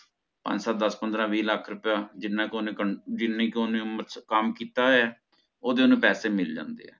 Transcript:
ਪੰਜ ਸਤ ਦਸ ਪੰਦਰਾਂ ਵੀ ਲੱਖ ਰੁਪਏ ਜਿਨਾ ਕ ਓਹਨੇ ਕਮ ਜਿਹਨੀ ਕੇ ਉਹਨੇ ਉਮਰ ਕੰਮ ਕੀਤਾ ਹੈ ਓਹਦੇ ਓਹਨੂੰ ਪੈਸੇ ਮਿਲ ਜਾਂਦੇ ਆ